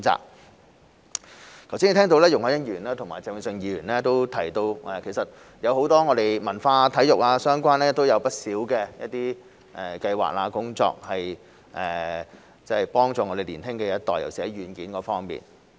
我剛才聽到容海恩議員和鄭泳舜議員提到，其實我們有許多關於文化、體育相關的不同計劃和工作幫助年輕一代，尤其是在軟件方面。